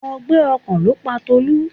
Ọgbẹ́ ọkàn ló pa Tolu.